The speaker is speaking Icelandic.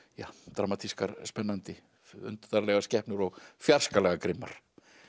dramatískar spennandi undarlegar skepnur og fjarskalega grimmar